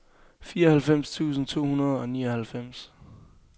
fireoghalvfems tusind to hundrede og nioghalvfems